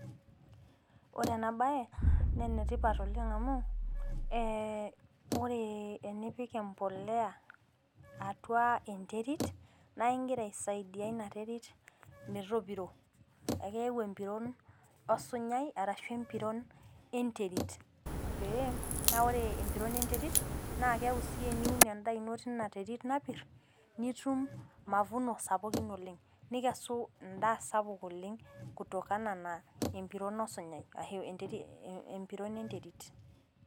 Ore ena bae naa ene tipat oleng amu, ore enepik empuliya atua enterit. naa igira aisaidia Ina terit. metopiro. ekeyau empiron osinyai, arashu empiron enterit. naa ore empiron e nterit naa keeku si teniun edaa ino teina terit napit nitum mavuno sapuk oleng. nikesi edaa sapuk oleng. kutokana wenterit osinyai